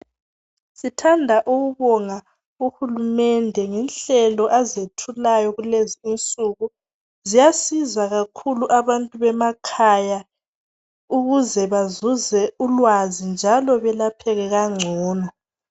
Sithanda ukubonga uhulumende ngenhlelo azethulayo kulezinsuku ziyasiza kakhulu abantu bemakhaya ukuze bazuze ulwazi njalo belapheke kangcono.